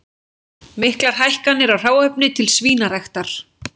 Miklar hækkanir á hráefni til svínaræktar